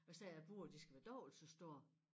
Og så sagde jeg æ bure de skal være dobbelt så store